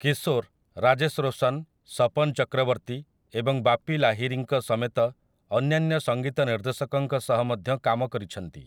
କିଶୋର୍ ରାଜେଶ୍ ରୋଶନ୍, ସପନ୍ ଚକ୍ରବର୍ତ୍ତୀ ଏବଂ ବାପି ଲାହିରୀଙ୍କ ସମେତ ଅନ୍ୟାନ୍ୟ ସଙ୍ଗୀତ ନିର୍ଦ୍ଦେଶକଙ୍କ ସହ ମଧ୍ୟ କାମ କରିଛନ୍ତି ।